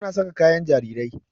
Ta na saƙa kayan jarirai.